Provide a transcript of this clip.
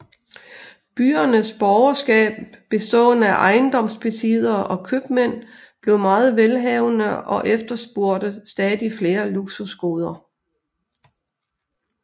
Byernes borgerskab bestående af ejendomsbesiddere og købmænd blev meget velhavende og efterspurgte stadig flere luksusgoder